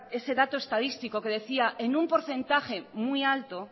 ese dato estadístico que decía en un porcentaje muy alto